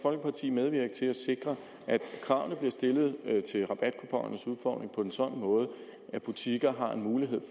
folkeparti medvirke til at sikre at kravene stillet på en sådan måde at butikker har en mulighed